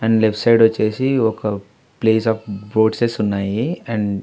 And left side వచ్చేసి ఒక place of fruits ఉన్నాయి. అండ్--